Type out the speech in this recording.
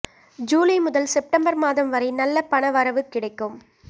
ஜூலை முதல் செப்டம்பர் மாதம் வரை நல்ல பண வரவு கிடைக்கும்